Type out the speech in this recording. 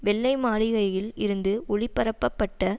வெள்ளை மாளிகையில் இருந்து ஒளிபரப்பப்பட்ட